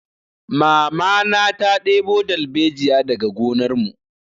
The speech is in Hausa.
Mamana ta ɗebo dalbejiya daga gonar mu